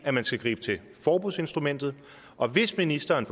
at man skal gribe til forbudsinstrumentet og hvis ministeren